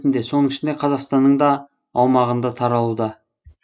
соның ішінде қазақстанның да аумағында таралуда